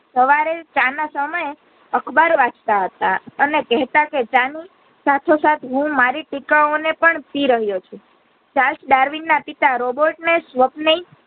સવારે ચા ના સમયે અખબાર વાંચતા હતા અને કેહતા હતા કે ચાની સાથે સાથે હું મારી ટીકા ઓ ને પણ પી રહ્યો છું સાથ ડાર્વિન ના પિતા robot ને સ્વપનય